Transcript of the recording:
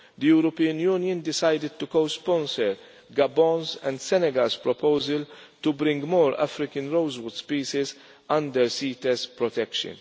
The European Union decided to co sponsor Gabon's and Senegal's proposal to bring more African rosewood species under CITES protection.